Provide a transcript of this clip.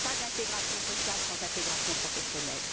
Il n'y a pas d'intégration sociale sans intégration professionnelle.